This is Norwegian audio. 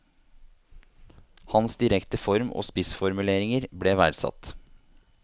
Hans direkte form og spissformuleringer ble verdsatt.